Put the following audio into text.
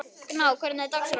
Gná, hvernig er dagskráin?